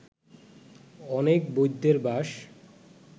অনেক বৈদ্যের বাস